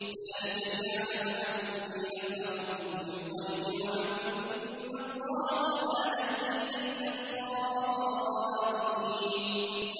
ذَٰلِكَ لِيَعْلَمَ أَنِّي لَمْ أَخُنْهُ بِالْغَيْبِ وَأَنَّ اللَّهَ لَا يَهْدِي كَيْدَ الْخَائِنِينَ